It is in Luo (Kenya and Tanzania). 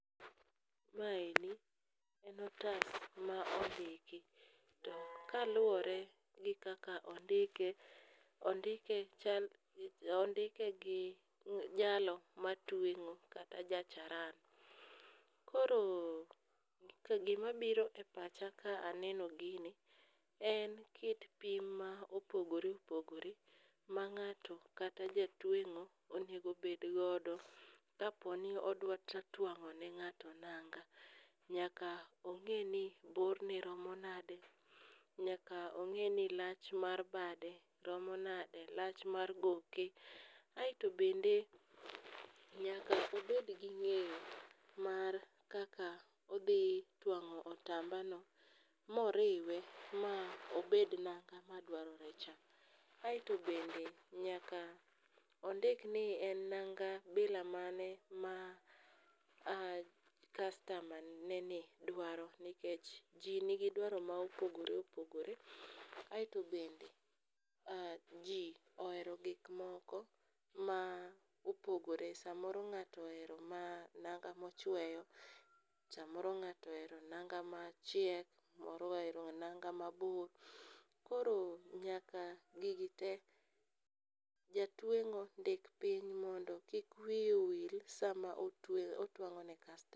Maendi en otas ma ondiki, to kaluwore gi kaka ondike ondike gi jalo matweng'o kata jacharan. Koro to gimabiro e pacha ka aneno gini en kit pim ma opogore opogore ma ng'ato kata jatweng'o onego bedgodo kaponi odwa twang'o ne ng'ato nanga, nyaka ong'e ni borne romo nade, nyaka ong'e ni lach mar bade romo nade, lach mar goke aeto bende nyaka obedgi ng'eyo mar kaka odhi twang'o otambano moriwe ma obed nanga madwarorecha. Aeto bende nyaka ondik ni en nanga bila mane ma kastamane ni dwaro nikech ji nigi dwaro ma opogore opogore aeto bende ji oerio gikmoko ma opogore samoro ng'ato ohero nanga mochweyo, samoro ng'ato ohero nanga machiek, moro ohero nanga mabor koro nyaka gigi te jatweng'o ndik piny mondo kik wiye wil sama otwang'o ne kastama.